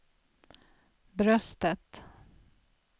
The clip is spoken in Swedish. bröstet